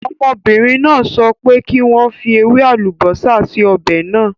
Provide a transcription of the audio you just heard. Ọmọbìnrin náà sọ pé kí n fi ewé àlùbósà sí ọ̀bẹ̀ náà.